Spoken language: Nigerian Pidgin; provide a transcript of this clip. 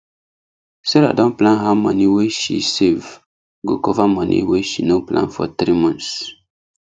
sarah don plan how money wey she save go cover money wey she no plan for three months